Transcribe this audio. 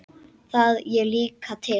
Það á ég líka til.